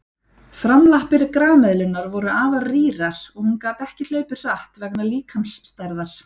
Framlappir grameðlunnar voru afar rýrar og hún gat ekki hlaupið hratt vegna líkamsstærðar.